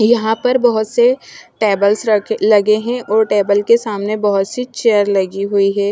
यहाँ पर बहत से टेबल्स रखे लगे है और टेबल् के सामने बहत सी चेयर लगी हुई है।